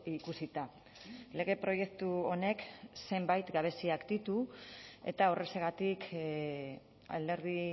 ikusita lege proiektu honek zenbait gabeziak ditu eta horrexegatik alderdi